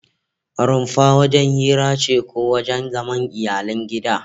Rumfa wajen hira ce ko wajen zaman iyalan gida